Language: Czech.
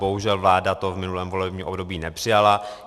Bohužel vláda to v minulém volebním období nepřijala.